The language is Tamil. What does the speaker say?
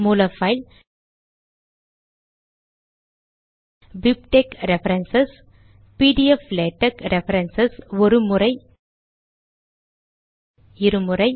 மூல file BibTeX reference PDF LaTeX reference ஒரு முறை இரு முறை